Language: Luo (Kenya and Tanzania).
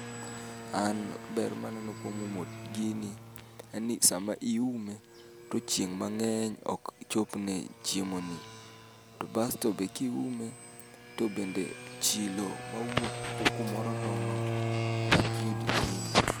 An ber maneno kuom umo gini, en ni sama iume to chieng' mang'eny ok chopne chiemo ni. To basto be kiume to bende chilo mawuok kumoro nono dak yud gini.